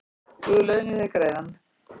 Guð launi þér greiðann